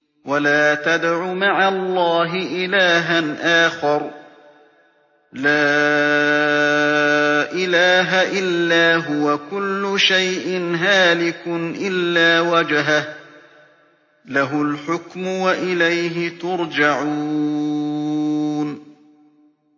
وَلَا تَدْعُ مَعَ اللَّهِ إِلَٰهًا آخَرَ ۘ لَا إِلَٰهَ إِلَّا هُوَ ۚ كُلُّ شَيْءٍ هَالِكٌ إِلَّا وَجْهَهُ ۚ لَهُ الْحُكْمُ وَإِلَيْهِ تُرْجَعُونَ